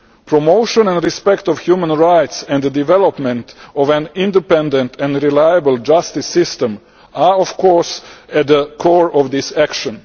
Promotion and respect for human rights and the development of an independent and reliable justice system are, of course, at the core of this action.